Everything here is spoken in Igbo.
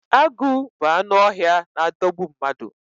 Agu bu anụ ọhịa n adogbu mmadu